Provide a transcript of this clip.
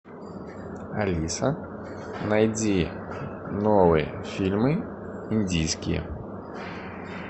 алиса найди новые фильмы индийские